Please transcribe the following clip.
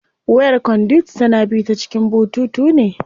Wayar conduit tana bi ta cikin bututu ne.